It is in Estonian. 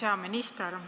Hea minister!